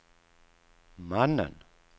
mannen